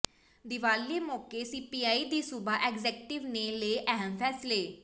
ਦੀਵਾਲੀ ਮੌਕੇ ਸੀਪੀਆਈ ਦੀ ਸੂਬਾ ਐਗਜ਼ੈਕੁਟਿਵ ਨੇ ਲਏ ਅਹਿਮ ਫੈਸਲੇ